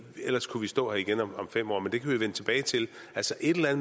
ellers kan vi stå her igen om fem år men det kan vi jo vende tilbage til altså et eller